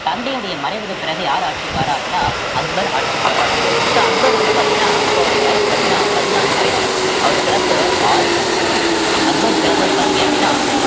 தந்தையுடைய மறைவுக்கு பிறகு யார் ஆட்சிக்கு வர்றா அப்படின்னா அக்பர் ஆட்சிக்கு வாரார் so அக்பர் வந்து பார்த்தீங்கன்னா அப்ப அவருடைய வயசு பார்த்தீங்கன்னா பதினான்கு வயதுதான் அவர் பிறப்பு ஆயிரத்தி அக்பர் பிறந்தது பார்த்தீங்க அப்படின்னா